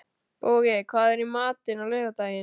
Bogey, hvað er í matinn á laugardaginn?